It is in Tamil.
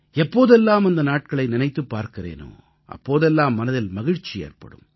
எப்போதெல்லாம் அந்த நாட்களை நினைத்துப் பார்க்கிறேனோ அப்போதெல்லாம் மனதில் மகிழ்ச்சி ஏற்படும்